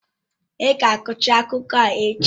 Ị ga kọchaa akụkọ a echi!